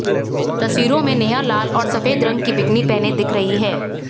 तस्वीरों में नेहा लाल और सफेद रंग की बिकीनी पहने दिख रही हैं